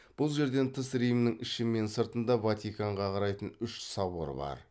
бұл жерден тыс римнің іші мен сыртында ватиканға қарайтын үш собор бар